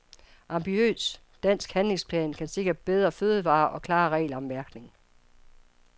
Ambitiøs dansk handlingsplan kan sikre bedre fødevarer og klare regler om mærkning.